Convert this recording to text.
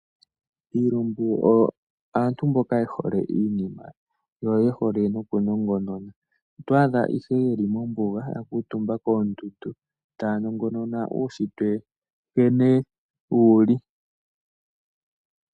Iilumbu oyo aantu mboka ye hole iinima yo ye hole noku nongonona. Oto adha ihe ye li mombuga ya kuutumba koondundu taya nongonona uushitwe nkene wu li.